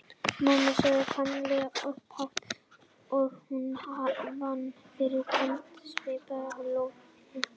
Mamma sagði Kamilla upphátt og hún fann fyrir köldum svita í lófunum.